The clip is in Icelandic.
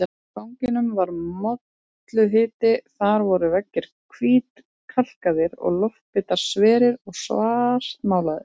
Á ganginum var molluhiti, þar voru veggir hvítkalkaðir en loftbitar sverir og svartmálaðir.